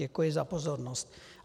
Děkuji za pozornost.